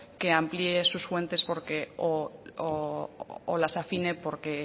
que amplíe sus fuentes porque o las afine porque